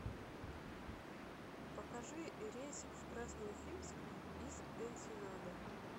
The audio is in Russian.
покажи рейс в красноуфимск из энсенады